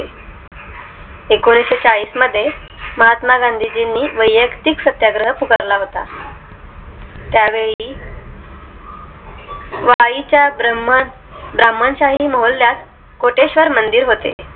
एकोणीशेचाळीशी मध्ये महात्मा गांधीजींनी वैयक्तिक सत्याग्रह पुकार ला होता त्यावेळी वाई च्या ब्राह्मण ब्राह्मण शाही मोहल्ल्यात कोटेश्वर मंदिर होते